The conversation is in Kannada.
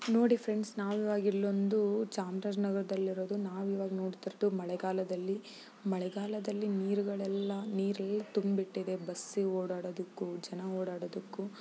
ನೋಡಿ ಫ್ರೆಂಡ್ ನಾವುವಾಗಿ ಇಲ್ಲೊಂದು ಚಾಮರಾಜ ನಗರದಲ್ಲಿ ಇರೋದು. ನಾವು ಇವಾಗ ನೋಡ್ತಿರದು ಮಳೆಗಾಲದಲ್ಲಿ ಮಳೆಗಾಲದಲ್ಲಿ ನೀರುಗಳೆಲ್ಲ ನೀರು ಹೇಗ್ ತುಂಬ್ ಇಟ್ಟಿದೆ ಬಸ್ಸಿ ಓಡಾಡುವುದಕ್ಕೂ ಜನ ಓಡಾಡುವುದಕ್ಕೂ --